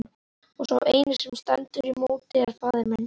Og sá eini sem stendur í móti er faðir minn!